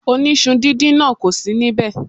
Oníṣu díndín náà kò sì níbẹ̀.